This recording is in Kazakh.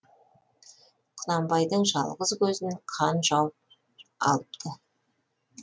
құнанбайдың жалғыз көзін қан жауып алыпты